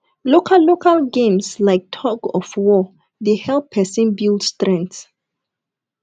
local local games like thug of war dey help person build strength